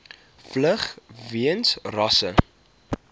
vlug weens rasse